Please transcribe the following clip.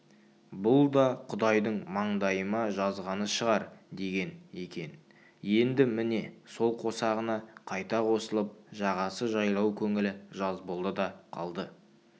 бұл да құдайдың маңдайыма жазғаны шығар деген екен енді міне сол қосағына қайта қосылып жағасы жайлау көңілі жаз болды да қалды